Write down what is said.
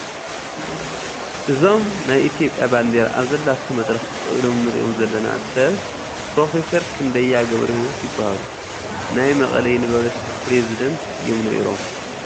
እዞም ናይ ኢትዮጵያ ባንዴራ ኣብዘለቶ መድረኽ ጠጠው ኢሎም ንሪኦም ዘለና ሰብ ፕሮፌሰር ክንደያ ገብረሂወት ይበሃሉ፡፡ ናይ መቐለ ዩኒቨርሲቲ ፕረዚደንት እዮም ነይሮም፡፡